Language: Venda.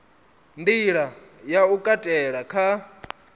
nḓila ya u katela kha